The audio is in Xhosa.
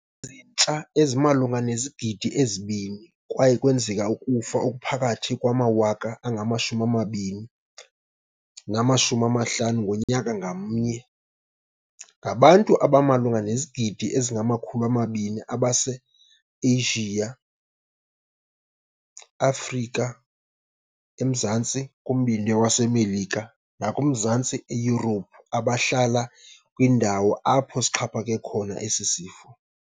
ezintsha ezimalunga nezigidi ezi-2 kwaye kwenzeka ukufa okuphakathi kwamawaka angama-20 nama-50 ngonyaka ngamnye. Ngabantu abamalunga nezigidi ezingama-200 abaseAsiya, eAfrika, eMzantsi kuMbindi weMelika, nakumazantsi eYurophu abahlala kwiindawo apho sixhaphake khona esi sifo.